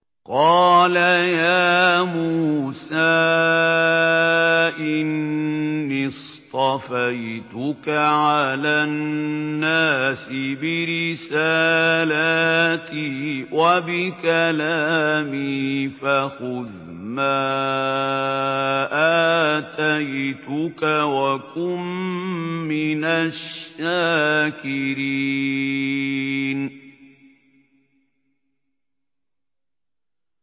قَالَ يَا مُوسَىٰ إِنِّي اصْطَفَيْتُكَ عَلَى النَّاسِ بِرِسَالَاتِي وَبِكَلَامِي فَخُذْ مَا آتَيْتُكَ وَكُن مِّنَ الشَّاكِرِينَ